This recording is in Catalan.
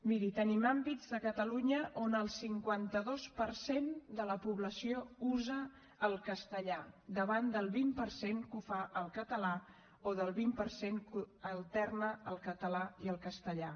miri tenim àmbits de catalunya on el cinquanta dos per cent de la població usa el castellà davant del vint per cent que ho fa en català o del vint per cent que alterna el català i el castellà